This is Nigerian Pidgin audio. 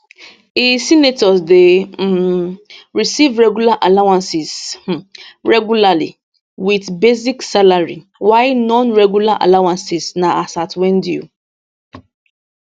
e senators dey um receive regular allowances um regularly wit basic salary while nonregular allowances na as at wen due